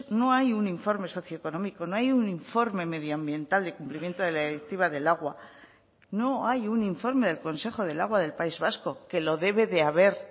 no hay un informe socioeconómico no hay un informe medioambiental del cumplimiento de la directiva del agua no hay un informe del consejo del agua del país vasco que lo debe de haber